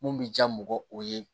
Mun bi ja mɔgɔ o ye